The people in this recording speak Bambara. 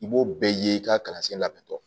I b'o bɛɛ ye i ka kalansen labɛntɔ